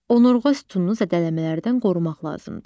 Onurğa sütununu zədələmələrdən qorumaq lazımdır.